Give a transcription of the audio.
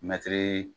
Mɛtiri